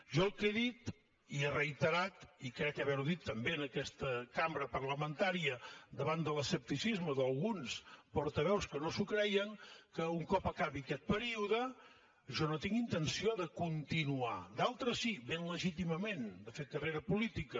jo el que he dit i he reiterat i crec haver ho dit també en aquesta cambra parlamentària davant de l’escepticisme d’alguns portaveus que no s’ho creien és que un cop acabi aquest període jo no tinc intenció de continuar d’altres sí ben legítimament fent carrera política